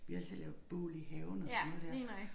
Vi altid lavede bål i haven og sådan noget der